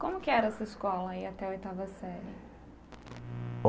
Como que era essa escola aí, até oitava Série?